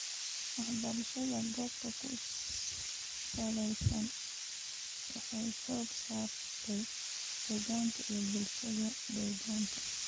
Waxbarashada goobta ku salaysan waxay xooga saartaa dhaqanka iyo bulshada deegaanka.